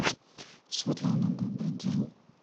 светлана добрый день